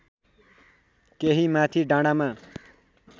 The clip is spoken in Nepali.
केही माथि डाँडामा